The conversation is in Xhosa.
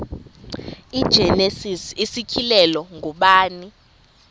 igenesis isityhilelo ngubani